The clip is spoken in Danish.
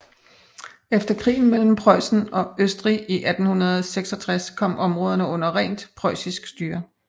Efter krigen mellem Preussen og Østrig i 1866 kom områderne under rent preussisk styre